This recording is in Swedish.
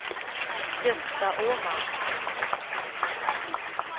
Gösta Åman